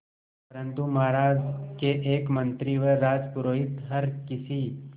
परंतु महाराज के एक मंत्री व राजपुरोहित हर किसी